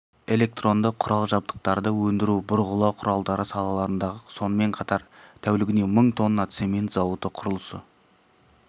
электронды құрал жабдықтарды өндіру бұрғылау құралдары салаларындағы сонымен қатар тәулігіне мың тонна цемент зауыты құрылысы